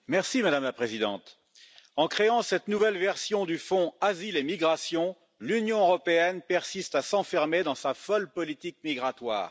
Madame la Présidente, en créant cette nouvelle version du Fonds Asile et migration, l'Union européenne persiste à s'enfermer dans sa folle politique migratoire.